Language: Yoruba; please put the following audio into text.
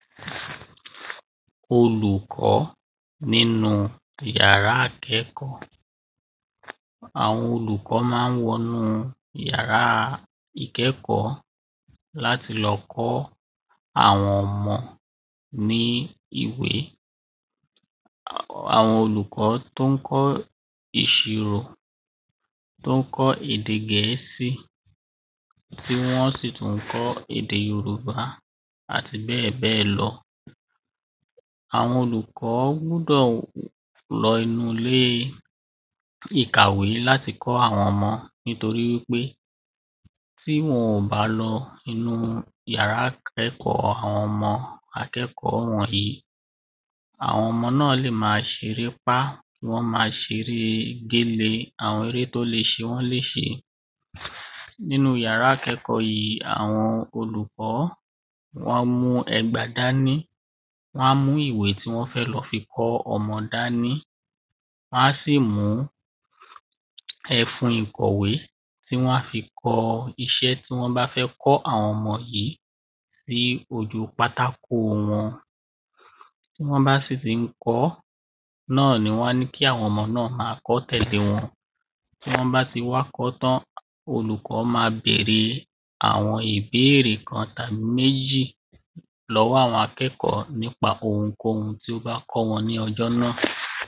olùkọ́ nínú yàrá ìkọ́kọ̀ọ́ àwọn olùkọ́ ma ń wọnú iyàrá ìkẹ́kọ̀ọ́ láti lọ kọ́ àwọn ọmọ ní ìwé àwọn olùkọ́ tón kọ́ ìṣirò, tón kọ́ ède gẹ̀ẹ́sì, tí wọ́n sì tún kọ́ ède yorùbá àti bẹ́ẹ̀bẹ́ẹ̀ lọ àwọn olùkọ́ gbúdọ̀ lọ inú ilé ìkàwé láti kọ́ àwọn ọmọ nítorí wípé tí wọ́n ò bá lọ inú yàrá ìkẹ́kọ̀ọ́ àwọn ọmọ akẹ́kọ̀ọ́ wọ̀nyí, àwọn ọmọ náà lè máa ṣerépá, wọ́n ma ṣeré géle, àwọn eré tó le ṣe wọ́n léṣe nínú yàrá tìí, àwọn olùkọ́ wọ́n mú ẹgba dání wán mú ìwé tí wọ́n fẹ́ lọ fi kọ́ ọmọ dání wán sì mú ẹfún ìkọ̀wé tí wán kọ iṣẹ́ tí wọ́n bá kọ́ àwọn ọmọ yìí bí ojú pátákó wọn, tí wọ́n sì tí ń kọọ́ náà ni wán ní kí àwọn ọmọ náà máa kọọ́ tẹ̀lé wọn. tí wọ́n bá tí wá kọ́ọ́ tán, olùkọ́ máa berèe àwọn ìbéèrè kan tàbí méjì lọ́wọ́ àwọn akẹ́kọ̀ọ́ nípa ohunkóhun tí ó bá kọ́ wọn ní ọjọ́ náà.